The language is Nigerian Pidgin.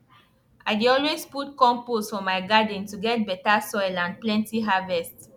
i dey always put compost for my garden to get better soil and plenty harvest